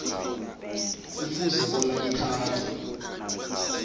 kufuze bona lithathwe